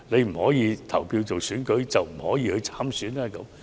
不可以投票是否等於不可以參選呢？